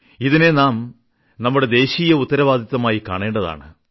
ഇതിനെ നാം നമ്മുടെ ദേശീയ ഉത്തരവാദിത്തമായി കാണേണ്ടതാണ്